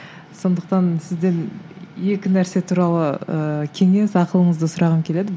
сондықтан сізден екі нәрсе туралы ыыы кеңес ақылыңызды сұрағым келеді